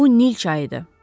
Bu Nil çayıdır.